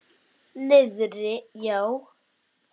Niðri já.